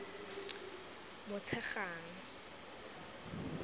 motshegang